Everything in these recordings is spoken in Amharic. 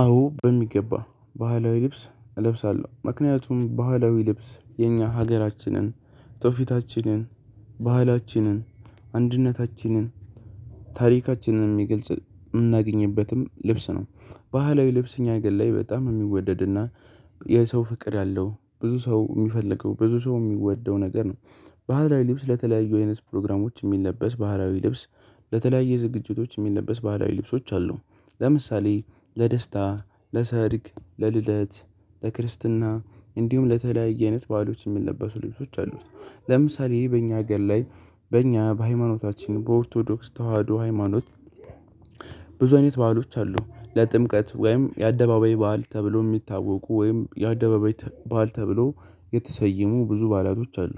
አዎ በሚገባ ባህላዊ ልብስ እለብሳለሁ ምክንያቱም ባህላዊ ልብስ የኛ ሀገራችንን ትውፊታችንን ባህላችንን አንድነታችንን ታሪካችንን የሚገልጽ የምናገኝበትም ልብስ ነው። ባህላዊ ልብስ እኛ ሀገር ላይ በጣም የሚወደድና የሰው ፍቅር ያለው ብዙ ሰው የሚፈልገው ብዙ ሰው የሚወደው ነገር ነው። ባህላዊ ልብስ ለተለያዩ አይነት ፕሮግራሞች የሚለበስ ባህላዊ ልብስ በተለያየ ዝግጅቶች የሚለበስ ባህላዊ ልብሶች አሉ። ለምሳሌ ለደስታ ለሰርግ ለልደት ለክርስትና እንዲሁም ለተለያየ አይነት በዓሎች የሚለበሱ ልብሶች አሉ። ለምሳሌ በእኛ ሀገር ላይ በእኛ በሃይማኖታችን በኦርቶዶክስ ተዋህዶ ሃይማኖት ብዙ አይነት ባአሎች አሉ ለጥምቀት ወይም የአደባባይ በዓል ተብሎ የሚታወቁ ወይም የአደባባይ ባዓል ተብለው የተሰየሙ ብዙ ባዕላቶች አሉ።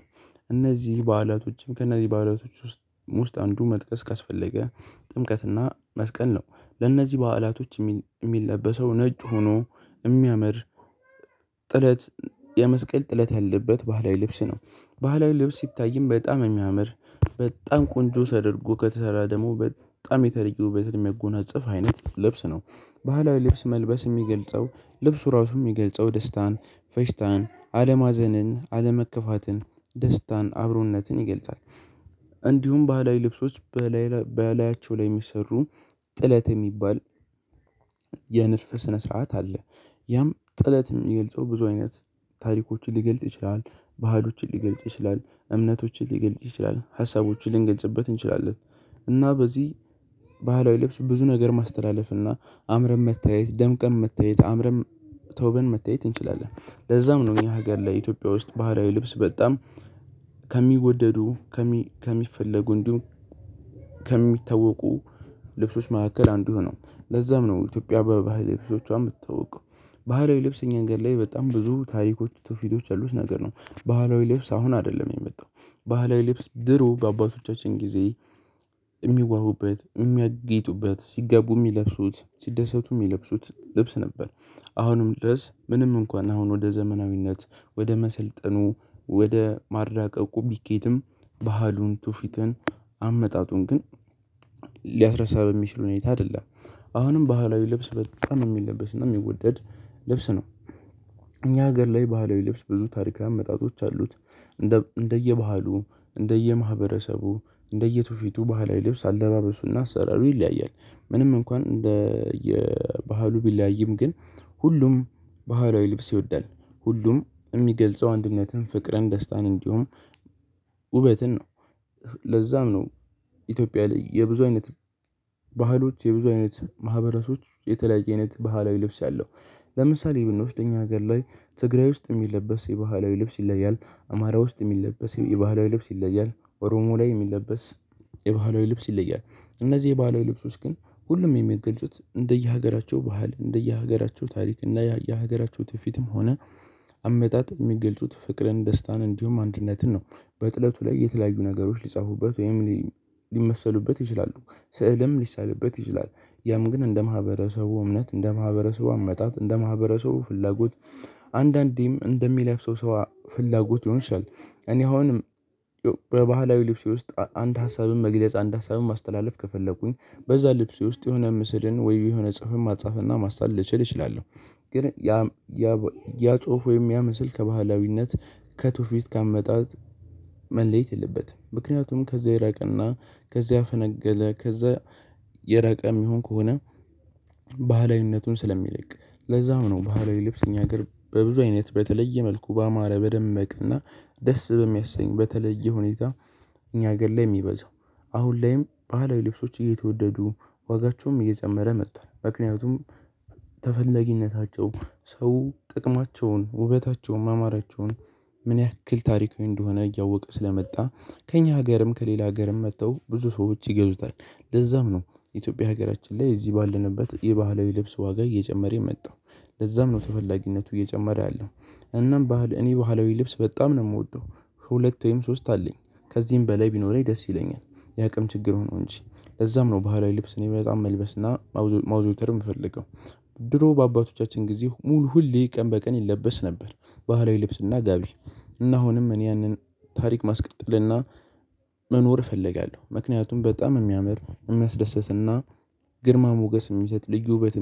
እነዚህ በዓላቶችም ከነዚህ በዓላቶች ውስጥ ውስጥ አንዱ መጥቀስ ካስፈለገ ጥምቀትና መስቀል ነው። ለእነዚህ በዓላቶች የሚል የሚል ለበሰው ነጭ ሆኖ የሚያምር ጥለት የመስቀል ጥለት ያለበት ባህላዊ ልብስ ነው። ባህላዊ ልብስ ሲታይም በጣም የሚያምር በጣም ቆንጆ ተደርጎ ከተሰራ ደግሞ በጣም የተለየ ውበትን የሚያጎናጽፍ አይነት ልብስ ነው። ባህላዊ ልብስ መልበስ የሚገልጸው ልብሱ ራሱ የሚገልጸው ደስታን ፌሽታን አለማዘንን አለመከፋትን ደስታን አብሮነትን ይገልጻል። እንዲሁም ባህላዊ ልብሶች በላያቸው ላይ የሚሰሩ ጥለት የሚባል የንድፍ ስነ ስርዓት አለ። ያም ጥለት የሚገልጸው ብዙ አይነት ታሪኮችን ሊገልጥ ይችላል ባህሎችን ሊገልጥ ይችላል እምነቶችን ሊገልጥ ይችላል ሀሳቦችን ልንገልጽበት እንችላለን። እና በዚህ ባህላዊ ልብስ ብዙ ነገር ማስተላለፍ እና አምረን መታየት ደምቀን መታየት አምረን ተውበን መታየት እንችላለን። ለዛም ነው እኛ ሀገር ላይ ኢትዮጵያ ውስጥ ባህላዊ ልብስ በጣም ከሚወደዱ ከሚፈለጉ እንዲሁም ከሚታወቁ ልብሶች መካከል አንዱ ነው። ለዛም ነው ኢትዮጵያ በባህል ልብሶቿ የምትታወቀው። ባህላዊ ልብስ እኛ ሀገር ላይ በጣም ብዙ ታሪኮች ትውፊቶች ያሉት ነገር ነው። ባህላዊ ልብስ አሁን አይደለም የመጣው ባህላዊ ልብስ ድሮ በአባቶቻችን ጊዜ የሚዋቡበት የሚያጌጡበት ሲጋቡ የሚለብሱት ሲደሰቱ የሚለብሱት ልብስ ነበር። አሁንም ድረስ ምንም እንኳን አሁን ወደ ዘመናዊነት ወደ መሰልጠኑ ወደ ማራቀቁ ቢኬድም ባህሉን ትውፊትን አመጣጡን ግን ሊያስረሳ በሚችል ሁኔታ አይደለም። አሁንም ባህላዊ ልብስ በጣም የሚለበስ እና የሚወደድ ልብስ ነው። እኛ ሀገር ላይ ባህላዊ ልብስ ብዙ ታሪካዊ አመጣጦች አሉት እንደ እንደየባህሉ እንደየማህበረሰቡ እንደየትውፊቱ ባህላዊ ልብስ አለባበሱና አሰራሩ ይለያያል። ምንም እንኳን እንደ የባህሉ ቢለያይም ግን ሁሉም ባህላዊ ልብስ ይወዳል ሁሉም የሚገልጸው አንድነትን ፍቅርን ደስታን እንዲሁም ውበትን ነው። ለዛም ነው ኢትዮጵያ ላይ የብዙ አይነት ባህሎች የብዙ አይነት ማህበረሶች የተለያየ አይነት ባህላዊ ልብስ አለው። ለምሳሌ ብንወስድ እኛ ሀገር ላይ ትግራይ ውስጥ የሚለበስ የባህላዊ ልብስ ይለያል። አማራ ውስጥ የሚለበስ የባህላዊ ልብስ ይለያል ኦሮሞ ላይ የሚለበስ የባህላዊ ልብስ ይለያል። እነዚህ የባህላዊ ልብሶች ግን ሁሉም የሚገልጹት እንደየሀገራቸው ባህል እንደየሀገራቸው ታሪክ እና የሀገራቸው ትውፊትም ሆነ አመጣጥ የሚገልጹት ፍቅርን ደስታን እንዲሁም አንድነትን ነው። በጥለቱ ላይ የተለያዩ ነገሮች ሊጻፉበት ወይም ሊመሰሉበት ይችላሉ። ስዕልም ሊሳልበት ይችላል። ያም ግን እንደ ማህበረሰቡ እምነት እንደ ማህበረሰቡ አመጣጥ እንደ ማህበረሰቡ ፍላጎት አንዳንዴም እንደሚለብሰው ሰው ፍላጎት ሊሆን ይችላል። እኔ አሁን በባህላዊ ልብስ ውስጥ አንድ ሀሳብን መግለጽ አንድ ሀሳብን ማስተላለፍ ከፈለኩኝ በዛ ልብስ ውስጥ የሆነ ምስልን ወይ የሆነ ጽሁፍን ማጻፍና ማሳል ልችል እችላለሁ። ግን ያ ያ ያ ጽሁፍ ወይም ያ ምስል ከባህላዊነት ከትውፊት ከአመጣጥ መለየት የለበትም። ምክንያቱም ከዚያ የራቀና ከዚያ ያፈነገለ ከዚያ የራቀ የሚሆን ከሆነ ባህላዊነቱን ስለሚለቅ። ለዛም ነው ባህላዊ ልብስ እኛ ሀገር በብዙ አይነት በተለየ መልኩ ባማረ በደመቀና ደስ በሚያሰኝ በተለየ ሁኔታ። እኛ ሀገር ላይ የሚበዛው አሁን ላይም ባህላዊ ልብሶች እየተወደዱ ዋጋቸውም እየጨመረ መጥቷል። ምክንያቱም ተፈላጊነታቸው ሰው ጥቅማቸውን ውበታቸውን ማማራቸውን ምን ያክል ታሪካዊ እንደሆነ እያወቀ ስለመጣ። ከእኛ ሀገርም ከሌላ ሀገርም መጥተው ብዙ ሰዎች ይገዙታል። ለዛም ነው። የኢትዮጵያ ሀገራችን ላይ እዚህ ባለንበት የባህላዊ ልብስ ዋጋ እየጨመረ የመጣው ለዛም ነው ተፈላጊነቱ እየጨመረ ያለው። እናም ባህል እኔ ባህላዊ ልብስ በጣም ነው የምወደው። ሁለት ወይም ሶስት አለኝ። ከዚህም በላይ ቢኖረኝ ደስ ይለኛል። የአቅም ችግር ሆኖ እንጂ። ለዛም ነው ባህላዊ ልብስ እኔ በጣም መልበስ እና ማዘውተር የምፈልገው። ድሮ በአባቶቻችን ጊዜ ሙሉ ሁሌ ቀን በቀን ይለበስ ነበር። ባህላዊ ልብስና ጋቢ እና አሁንም እኔ ያንን ታሪክ ማስቀጠልና መኖር እፈልጋለሁ። ምክንያቱም በጣም የሚያምር የሚያስደስትና ግርማ ሞገስ የሚሰጥ ልዩ ውበት